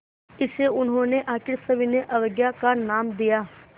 इसे उन्होंने आख़िरी सविनय अवज्ञा का नाम दिया